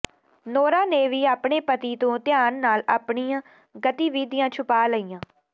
Nora ਨੇ ਵੀ ਆਪਣੇ ਪਤੀ ਤੋਂ ਧਿਆਨ ਨਾਲ ਆਪਣੀਆਂ ਗਤੀਵਿਧੀਆਂ ਛੁਪਾ ਲਈਆਂ